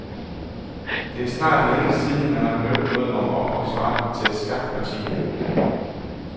Det er snart længe siden, man har hørt noget om ophavsretten til skakpartier.